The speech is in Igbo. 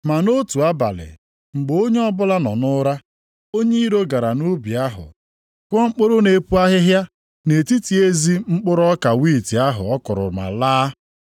Ma nʼotu abalị, mgbe onye ọbụla nọ nʼụra, onye iro gara nʼubi ahụ kụọ mkpụrụ na-epu ahịhịa nʼetiti ezi mkpụrụ ọka wiiti ahụ ọ kụrụ ma laa.